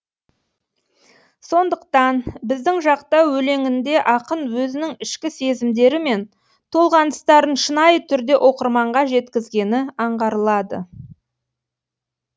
сондықтан біздің жақта өлеңінде ақын өзінің ішкі сезімдері мен толғаныстарын шынайы түрде оқырманға жеткізгені аңғарылады